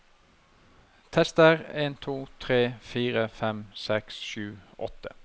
Tester en to tre fire fem seks sju åtte